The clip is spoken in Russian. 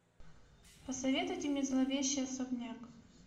посоветуйте мне зловещий особняк